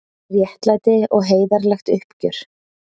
Réttlæti og heiðarlegt uppgjör